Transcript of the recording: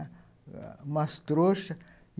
umas trouxas.